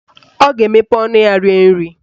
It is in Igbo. Ọ ga-emepe ọnụ ya rie nri